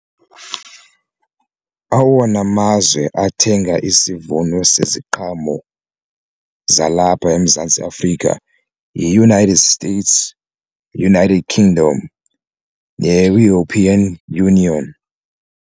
Awona mazwe athenga isivuno seziqhamo zalapha eMzantsi Afrika yiUnited States, United Kingdom ne-European Union.